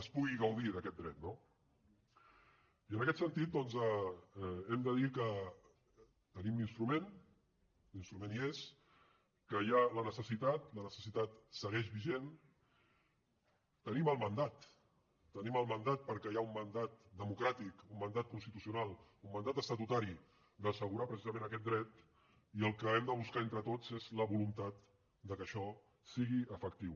es pugui gaudir d’aquest dret no i en aquest sentit doncs hem de dir que tenim l’instrument l’instrument hi és que hi ha la necessitat la necessitat segueix vigent tenim el mandat tenim el mandat perquè hi ha un mandat democràtic un mandat constitucional un mandat estatutari d’assegurar precisament aquest dret i el que hem de buscar entre tots és la voluntat que això sigui efectiu